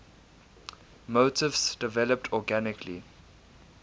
motifs developed organically